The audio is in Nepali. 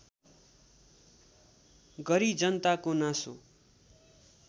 गरी जनताको नासो